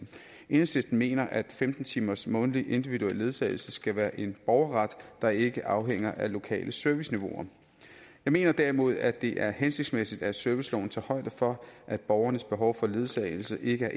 enhedslisten mener at femten timers månedlig individuel ledsagelse skal være en borgerret der ikke afhænger af lokale serviceniveauer jeg mener derimod at det er hensigtsmæssigt at serviceloven tager højde for at borgernes behov for ledsagelse ikke er